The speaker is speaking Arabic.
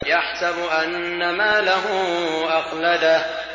يَحْسَبُ أَنَّ مَالَهُ أَخْلَدَهُ